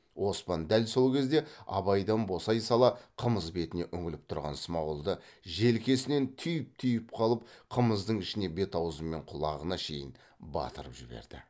оспан дәл сол кезде абайдан босай сала қымыз бетіне үңіліп тұрған смағұлды желкесінен түйіп түйіп қалып қымыздың ішіне бет аузы мен құлағына шейін батырып жіберді